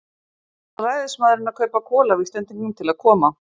Nú varð ræðismaðurinn að kaupa kol af Íslendingum til að koma